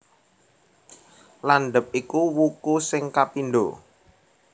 Landhep iku wuku sing kapindho